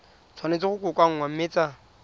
tshwanetse go kokoanngwa mme tsa